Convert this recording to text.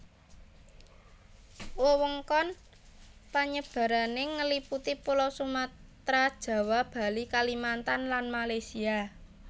Wewengkon penyebarané ngeliputi pulau Sumatera Jawa Bali Kalimantan lan Malaysia